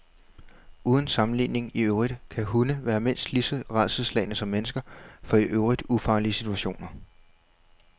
Uden sammenligning i øvrigt kan hunde være mindst lige så rædselsslagne som mennesker for i øvrigt ufarlige situationer.